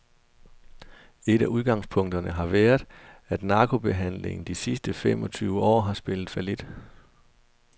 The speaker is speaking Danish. Et af udgangspunkterne har været, at narkobehandlingen de sidste fem og tyve år har spillet fallit.